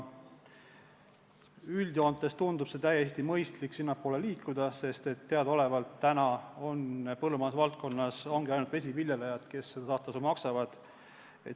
Üldjoontes tundub täiesti mõistlik sinnapoole liikuda, sest teadaolevalt ongi põllumajandusvaldkonnas ainult vesiviljelejad need, kes saastetasu maksavad.